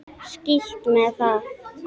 Skítt með það.